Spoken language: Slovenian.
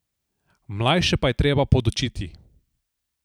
Mlajše pa je treba podučiti.